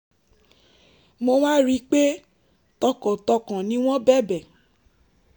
mo wá rí i pé tọkàntọkàn ni wọ́n bẹ̀bẹ̀